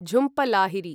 Jhumpa Lahiri